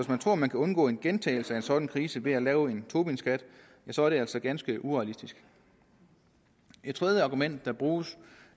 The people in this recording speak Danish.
man tror man kan undgå en gentagelse af en sådan krise ved at lave en tobinskat så er det altså ganske urealistisk et tredje argument der bruges